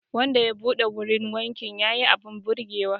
Wanda ya buɗe wurin wankin ya yi abin birgewa